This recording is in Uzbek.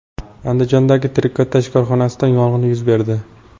Andijondagi trikotaj korxonasida yong‘in yuz berdi.